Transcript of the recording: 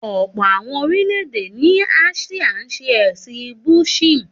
Ọ̀pọ̀ àwon orílè-èdè ní Áṣíà ń ṣe ẹ̀sìn Buddhism